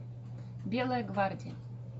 белая гвардия